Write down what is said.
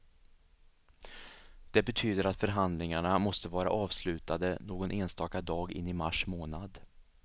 Det betyder att förhandlingarna måste vara avslutade någon enstaka dag in i mars månad.